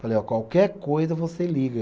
Falei, ó, qualquer coisa você liga.